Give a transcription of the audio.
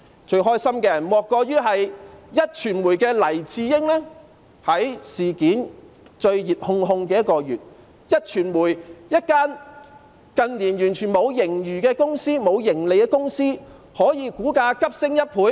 最開心的莫過於壹傳媒的黎智英，在事件最熱烘烘的1個月，壹傳媒這間近年完全沒有盈餘或盈利的公司的股價可以急升1倍。